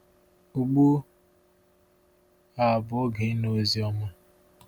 Ugbu a bụ oge ịnụ Oziọma.